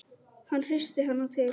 Hann hristir hana til.